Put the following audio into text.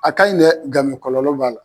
A ka ɲi dɛ nka kɔlɔlɔ b'a la